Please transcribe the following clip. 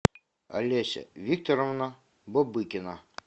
олеся викторовна бобыкина